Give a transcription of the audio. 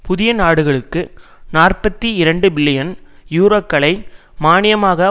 புதிய நாடுகளுக்கு நாற்பத்தி இரண்டுபில்லியன் யூரோக்களை மானியமாக